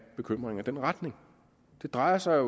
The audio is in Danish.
bekymringer i den retning det drejer sig